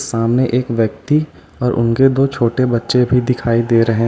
सामने एक व्यक्ति और उनके दो छोटे बच्चे भी दिखाई दे रहे हैं।